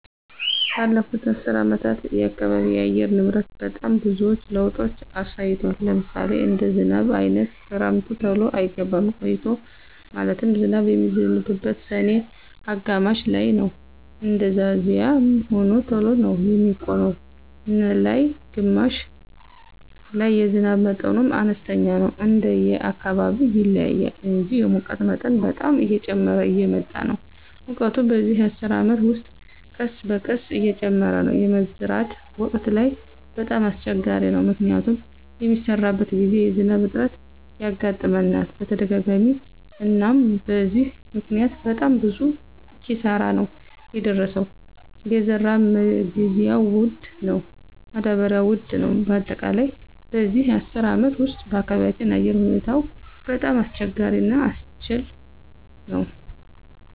በለፉት አሰር አመታት የአካባቢ አየር ንብረት በጣም ብዙዎች ለውጦች አሳይቷል። ለምሳሌ እንደ ዝናብ አይነት ክረምቱ ተሎ አይገባም ቆይቶ ማለትም ዝናብ የሚዝንበው ሰኔ አጋማሽ ላይነው እንደዛዚያም ሆኖ ተሎ ነው የሚቆመው ነላይ ግማሽ ላይ የዝናብ መጠኑም አነስተኛ ነው እንደየ አካባቢው ይለያያል እንጂ። የሙቀት መጠን በጣም እየጨመረ እየመጣ ነው ሙቀቱ በዚህ አስር አመት ውስጥ ቀስበቀስ እየጨመረ ነው። የመዝራት ወቅት ላይ በጣም አሰቸጋሪ ነው። ምክንያቱም በሚሰራበት ግዜ የዝናብ እጥረት ያጋጥመናል በተደጋጋሚ አናም በዚህ ምክኒያት በጣም ብዙ ኪሳራ ነው የደረሰው የዘራ መግዢያ ወድ ነው ማዳበሪው ውድ ነው በአጠቃላይ በዚህ አስር አመት ውስጥ በአካባቢያቸው አየር ሁኔታው በጣም አስቸጋሪ እና አሰልች ነወ።